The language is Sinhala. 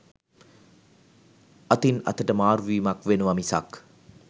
අතින් අතට මාරුවීමක් වෙනව මිසක්